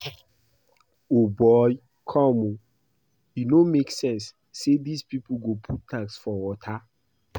O boy come oo, e no make sense say dis people go put tax for water